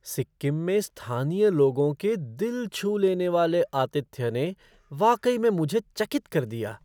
सिक्किम में स्थानीय लोगों के दिल छू लेने वाले आतिथ्य ने वाकई में मुझे चकित कर दिया।